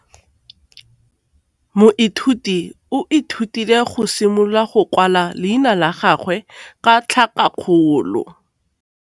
Moithuti o ithutile go simolola go kwala leina la gagwe ka tlhakakgolo.